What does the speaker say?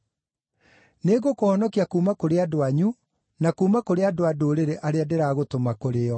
Nĩngũkũhonokia kuuma kũrĩ andũ anyu na kuuma kũrĩ andũ-a-Ndũrĩrĩ arĩa ndĩragũtũma kũrĩ o,